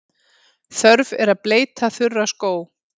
Þörf er að bleyta þurra skó.